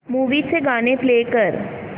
movie चं गाणं play कर